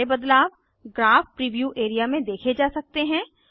सारे बदलाव graph preview A R E A में देखे जा सकते हैं